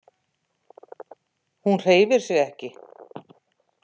Hún hreyfir sig ekki.